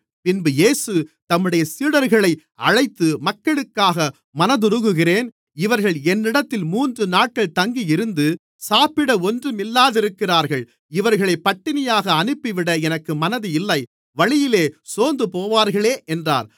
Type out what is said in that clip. பின்பு இயேசு தம்முடைய சீடர்களை அழைத்து மக்களுக்காக மனதுருகுகிறேன் இவர்கள் என்னிடத்தில் மூன்று நாட்கள் தங்கியிருந்து சாப்பிட ஒன்றுமில்லாதிருக்கிறார்கள் இவர்களைப் பட்டினியாக அனுப்பிவிட எனக்கு மனதில்லை வழியிலே சோர்ந்துபோவார்களே என்றார்